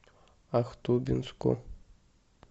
ахтубинску